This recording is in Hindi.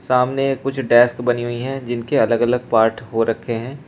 सामने कुछ डेस्क बनी हुई हैं जिनके अलग अलग पार्ट हो रखे हैं।